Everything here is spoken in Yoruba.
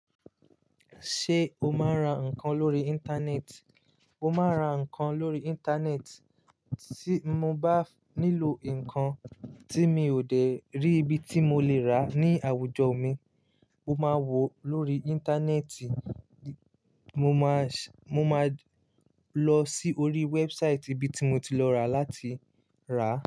Ṣé o máa ń ra nǹkan lórí Íńtánẹ́ẹ̀tì? Mo máa ń ra nǹkan lórí Íńtánẹ́ẹ̀tì. Tí mo bá nílò nǹkan tí mi ò dé rí ibi tí mo lè rà ní àwùjọ mi, mo máa wo lórí Íńtánẹ́ẹ̀tì. Mo máa, mo máa lọ sí orí wẹ́ẹ̀bụ sáìtì ibi tí mo ti lọ rà láti rà.